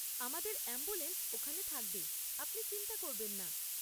আমাদের অ্যাম্বুলেন্স ওখানে থাকবে, আপনি চিন্তা করবেন না।